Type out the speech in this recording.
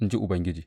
in ji Ubangiji.